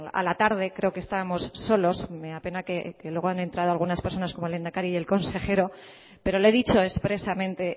a la tarde creo que estábamos solos me apena que luego han entrado algunas personas como el lehendakari y el consejero pero le he dicho expresamente